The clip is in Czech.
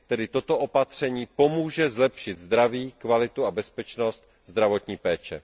Tedy toto opatření pomůže zlepšit zdraví, kvalitu a bezpečnost zdravotní péče.